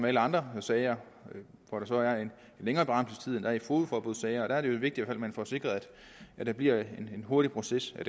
alle andre sager hvor der så er en længere berammelsestid end der er i fogedforbudssager der er det jo vigtigt at man får sikret at der bliver en hurtig proces i